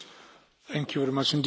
Panie Przewodniczący!